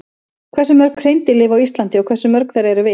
Hversu mörg hreindýr lifa á Íslandi og hversu mörg þeirra eru villt?